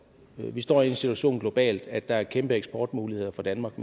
vi står i en situation globalt at der er kæmpe eksportmuligheder for danmark